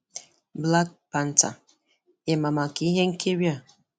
Black Panther: Ịma maka ihe Ịma maka ihe nkiri a?